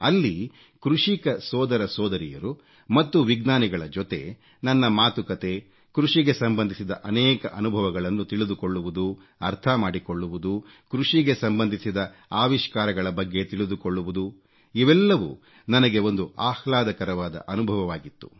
ಅಲ್ಲಿ ಕೃಷಿಕ ಸೋದರ ಸೋದರಿಯರು ಮತ್ತು ವಿಜ್ಞಾನಿಗಳ ಜೊತೆ ನನ್ನ ಮಾತುಕತೆ ಕೃಷಿಗೆ ಸಂಬಂಧಿಸಿದ ಅನೇಕ ಅನುಭವಗಳನ್ನು ತಿಳಿದುಕೊಳ್ಳುವುದು ಅರ್ಥ ಮಾಡಿಕೊಳ್ಳುವುದು ಕೃಷಿಗೆ ಸಂಬಂಧಿಸಿದ ಆವಿಷ್ಕಾರಗಳ ಬಗ್ಗೆ ತಿಳಿದುಕೊಳ್ಳುವುದು ಇವೆಲ್ಲವೂ ನನಗೆ ಒಂದು ಆಹ್ಲಾದಕರವಾದ ಅನುಭವವಾಗಿತ್ತು